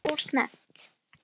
Jú það var of snemmt.